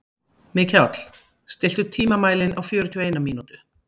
Mikjáll, stilltu tímamælinn á fjörutíu og eina mínútur.